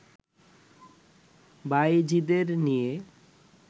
বাঈজীদের নিয়ে